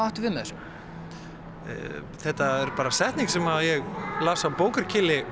áttu við með þessu þetta er bara setning sem ég las á